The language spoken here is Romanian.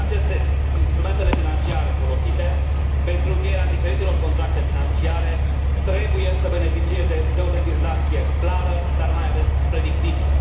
În acest sens, instrumentele financiare folosite pentru încheierea diferitelor contracte financiare trebuie să beneficieze de o legislație clară, dar, mai ales, predictibilă.